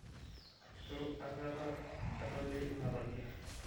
itu akata edoli inatabiya